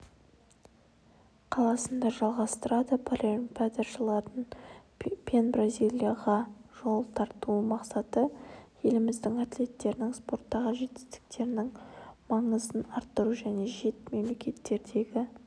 қаласында жалғастырады паралимпиадашылардың пенбразилияға жол тартумақсаты еліміздің атлеттерінің спорттағы жетістерінің маңызын арттыру және шет мемлекеттердеел